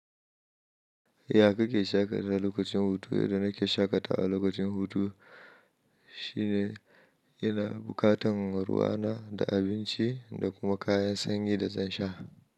Ya kake shaƙatawa lokacin hutu? Yanda na ke shaƙatawa lokacin hutu shine ina buƙatan ruwa na da abinci da kuma kayan sanyi da zan sha.